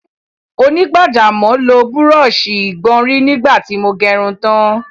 Onígbàjámọ̀ lo búrọ̀ṣì ìgbọ̀nrí nígbà tí mo gẹrun tán